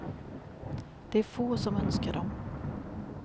Det är få som önskar dem.